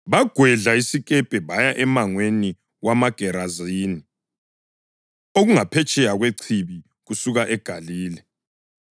Bagwedla isikepe baya emangweni wamaGerazini, okungaphetsheya kwechibi kusuka eGalile.